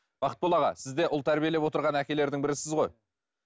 бақытбол аға сіз де ұл тәрбиелеп отырған әкелердің бірісіз ғой